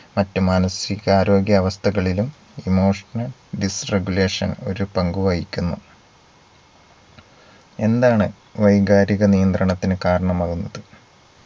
മറ്റു മാനസികാരോഗ്യ അവസ്ഥകളിലും Emotional disregulation ഒരു പങ്ക് വഹിക്കുന്നു എന്താണ് വൈകാരിക നിയന്ത്രണത്തിന് കാരണമാകുന്നത്